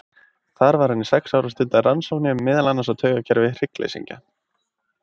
Þar var hann í sex ár og stundaði rannsóknir, meðal annars á taugakerfi hryggleysingja.